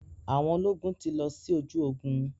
Àwọn ológun ti lọ sí ojú ogun.